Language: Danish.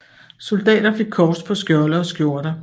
Soldater fik kors på skjolde og skjorter